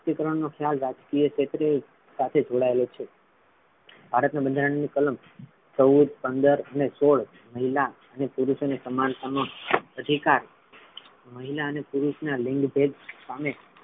મહિલા સશક્તિકરણનો ખ્યાલ રાજકીય ક્ષેત્રે સાથે જોડાયેલો છે ભારતના બંધારણની કલામ ચૌદ પંદર ને સોળ મહિલા અને પુરુષ ને સમાનતાનો અધિકાર મહિલા ને પુરુષ ના લિંગ ભેદ સામે,